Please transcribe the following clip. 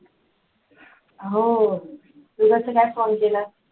हो तू कसा काय phone केला?